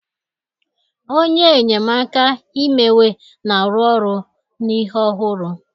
Onye enyemaka imewe na-arụ ọrụ na ihe ọhụrụ